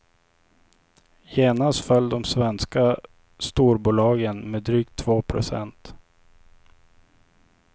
Genast föll de svenska storbolagen med drygt två procent.